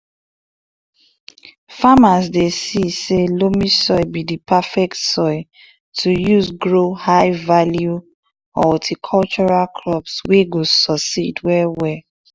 farmers dey see say loamy soil be di perfect soil to use grow high value horticultural crops wey go succeed well well